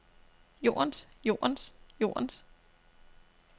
jordens jordens jordens